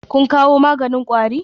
Kun kawo maganin kwari?